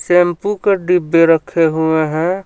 Shampoo के डिब्बे रखे हुए हैं.